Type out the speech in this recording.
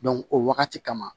o wagati kama